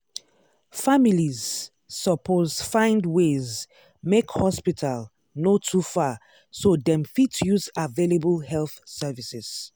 families suppose find ways make hospital no too far so dem fit use available health services.